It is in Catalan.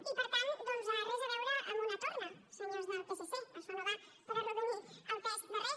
i per tant doncs res a veure amb una torna senyors del psc això no va per arrodonir el pes de res